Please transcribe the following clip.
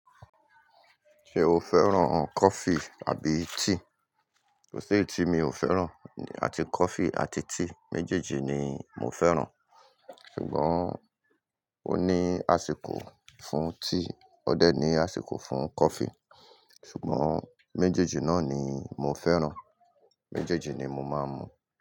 Ṣé o fẹ́ràn coffee àbí tea? Kò Seyi tí mi ò fẹ́ràn àti coffee àti tea méjèèjì ni mo fẹ́ràn. Ṣùgbọ́n ó ní àsìkò fún tea, ó dẹ̀ ní àsìkò fún coffee. Ṣùgbọ́n méjèèjì náà ni mo fẹ́ràn. Méjèèjì ni mo máa ń mu.